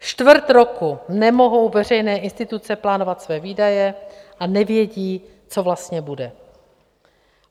Čtvrt roku nemohou veřejné instituce plánovat své výdaje a nevědí, co vlastně bude.